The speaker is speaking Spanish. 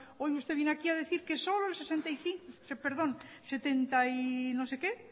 hoy usted viene aquí a decir que solo el setenta y no sé qué